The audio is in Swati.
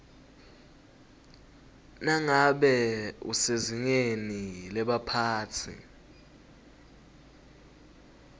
nangabe usezingeni lebaphatsi